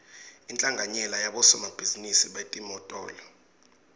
inhlanganyela yabosomabhizinisi betimotolo